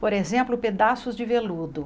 Por exemplo, pedaços de veludo.